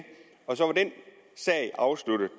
og så var den sag afsluttet